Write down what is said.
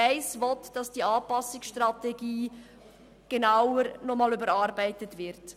Die Ziffer 1 fordert eine genauere Überarbeitung der Anpassungsstrategie.